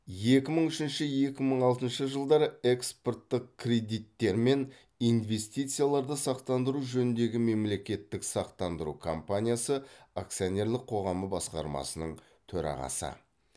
екі мың үшінші екі мың алтыншы жылдары экспорттық кредиттер мен инвестицияларды сақтандыру жөніндегі мемлекеттік сақтандыру компаниясы акционерлік қоғамы басқармасының төрағасы